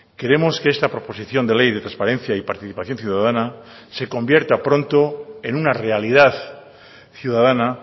queremos que esta proposición de ley de transparencia y participación ciudadana se convierta pronto en una realidad ciudadana